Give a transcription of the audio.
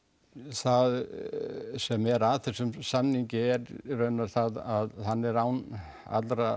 það sem er að þessum samningi er í raun og veru það að hann er án allra